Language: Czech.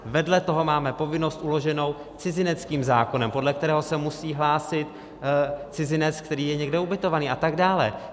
Vedle toho máme povinnost uloženou cizineckým zákonem, podle kterého se musí hlásit cizinec, který je někde ubytovaný a tak dále.